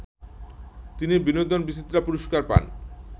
তিনি বিনোদন বিচিত্রা পুরস্কার পান